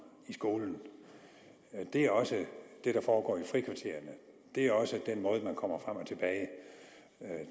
i skolen det er også det der foregår i frikvartererne det er også den måde man kommer frem og tilbage